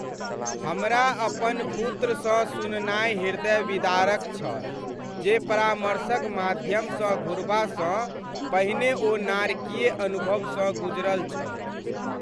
हमरा अपन पुत्रसँ सुननाइ हृदयविदारक छल जे परामर्शक माध्यमसँ घुरबासँ पहिने ओ नारकीय अनुभवसँ गुजरल छल।